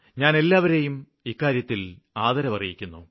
ഞാന് എല്ലാവരെയും ഇക്കാര്യത്തില് ആദരവറിയിക്കുന്നു